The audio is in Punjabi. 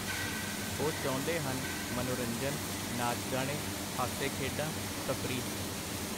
ਉਹ ਚਾਹੁੰਦੇ ਹਨ, ਮਨੋਰੰਜਨ, ਨਾਚ-ਗਾਣੇ, ਹਾਸੇ-ਖੇਡਾਂ, ਤਫਰੀਹ.